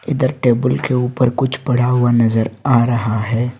इधर टेबल के ऊपर कुछ पड़ा हुआ नजर आ रहा है।